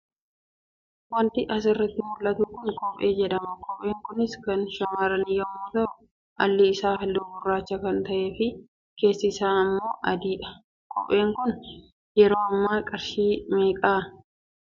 Wanti as irratti mul'atu kun kophee jedhama. Kopheen kunis kan shamarranii yommuu ta'u, alli isaa halluu gurraacha kan ta'ee fi keessi isaa immoo adii dha. Kopheen kun yeroo ammaa qarshii meeqa?